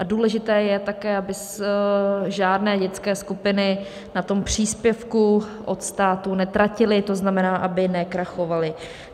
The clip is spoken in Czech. A důležité je také, aby žádné dětské skupiny na tom příspěvku od státu netratily, to znamená, aby nekrachovaly.